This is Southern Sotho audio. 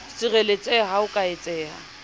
sireletseha ha ho ka etseha